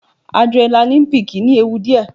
Adrenaline peak ní ewu díẹ̀.